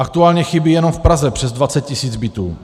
Aktuálně chybí jenom v Praze přes 20 tisíc bytů.